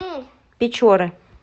печоры